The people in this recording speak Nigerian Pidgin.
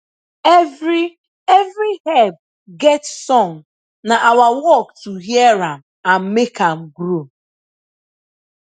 every every herb get song na our work to hear am and make am grow